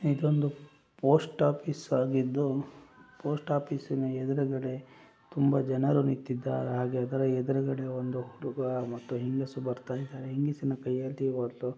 ಇದೊಂದು post office ಆಗಿದ್ದು post ಆಫೀಸಿನ ಎದ್ರುಗಡೆ ತುಂಬ ಜನರು ನಿಂತಿದ್ದಾರೆ ಹಾಗೆ ಎದ್ರುಗಡೆ ಒಂದು ಹುಡುಗ ಮತ್ತು ಹೆಂಗಸು ಬರ್ತಾ ಇದಾರೆ ಹೆಂಗಸಿನ ಕೈಯಲ್ಲಿ --